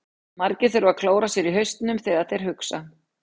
Margir þurfa að klóra sér í hausnum þegar þeir hugsa.